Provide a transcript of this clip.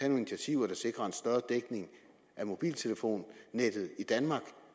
initiativer der sikrer en større dækning af mobiltelefonnettet i danmark